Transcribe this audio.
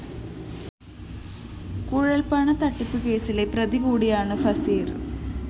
കുഴല്‍പണത്തട്ടിപ്പ് കേസിലെ പ്രതികൂടിയാണ് ഫസീര്‍